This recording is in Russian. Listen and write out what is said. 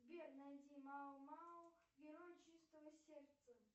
сбер найди мао мао герой чистого сердца